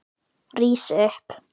Rís upp.